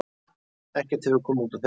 Ekkert hefur komið út úr þeim.